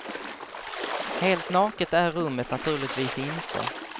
Helt naket är rummet naturligtvis inte.